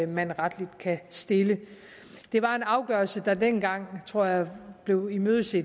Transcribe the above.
man retligt kan stille det var en afgørelse der dengang tror jeg blev imødeset